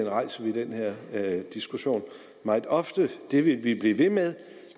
rejser vi den her diskussion meget ofte det vil vi blive ved med